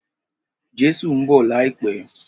Jésù ń bọ̀ láìpẹ́.